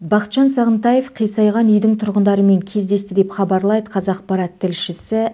бақытжан сағынтаев қисайған үйдің тұрғындарымен кездесті деп хабарлайды қазақпарат тілшісі